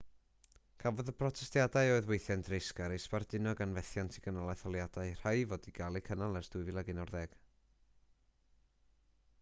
cafodd y protestiadau oedd weithiau'n dreisgar eu sbarduno gan fethiant i gynnal etholiadau rhai i fod i gael eu cynnal ers 2011